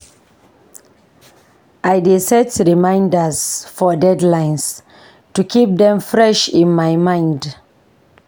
I dey set reminders for deadlines to keep them fresh in my mind.